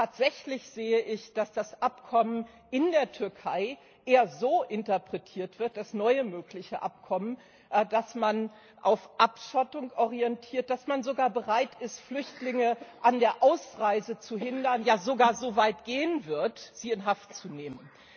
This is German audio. Tatsächlich sehe ich, dass das neue mögliche Abkommen in der Türkei eher so interpretiert wird, dass man sich auf Abschottung orientiert, dass man sogar bereit ist, Flüchtlinge an der Ausreise zu hindern, ja sogar so weit gehen wird, sie in Haft zu nehmen.